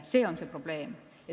See on see probleem.